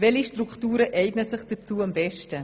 Welche Strukturen eignen sich dazu am besten?